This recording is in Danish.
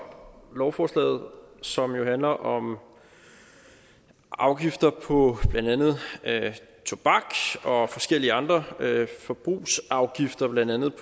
for lovforslaget som jo handler om afgifter på blandt andet tobak og forskellige andre forbrugsafgifter blandt andet